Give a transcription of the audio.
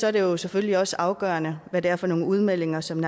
er det jo selvfølgelig også afgørende hvad det er for nogle udmeldinger som